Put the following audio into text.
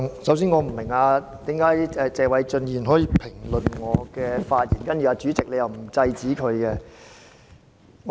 首先，我不明白為何謝偉俊議員可以評論我的發言，然後主席又沒有制止他。